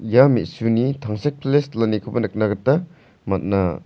ia me·suni tangsekpile silanikoba nikna gita man·a.